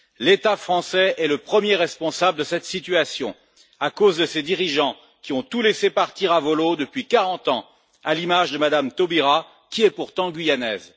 L'État français est le premier responsable de cette situation à cause de ses dirigeants qui ont tout laissé partir à vau l'eau depuis 40 ans, à l'image de Mme Taubira, qui est pourtant guyanaise.